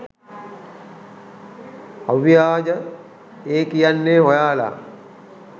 අව්‍යාජා ඒ කියන්නෙ ඔයාලා